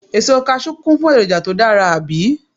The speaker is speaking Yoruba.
Èso Kaṣú kún fún èròjà tó dára, àbí?